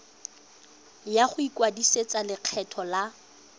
ya go ikwadisetsa lekgetho la